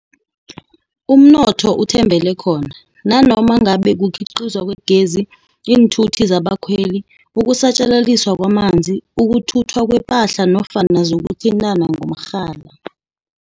umnotho uthembele khona, nanoma ngabe kukhiqizwa kwegezi, iinthuthi zabakhweli, ukusatjalaliswa kwamanzi, ukuthuthwa kwepahla nofana zokuthintana ngokomrhala.